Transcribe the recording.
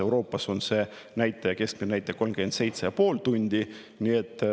Euroopas on see keskmine näitaja 37,5 tundi.